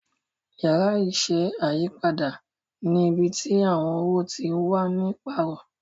Yàrá iṣẹ́ ayípadà ni ibí tí àwọn owo tí wá ní paarọ